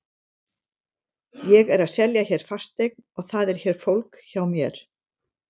Ég er að selja hér fasteign og það er hér fólk hjá mér.